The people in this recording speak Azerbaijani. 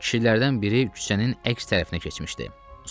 Kişilərdən biri küçənin əks tərəfinə keçmişdi.